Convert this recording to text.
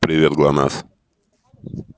привет глонассс